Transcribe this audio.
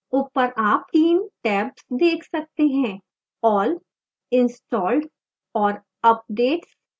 at the top we can see 3 tabsall installed and updates